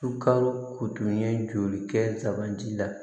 Sukaro ko tun ye joli kɛ sugandi la